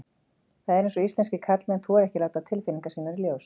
Það er eins og íslenskir karlmenn þori ekki að láta tilfinningar sínar í ljós.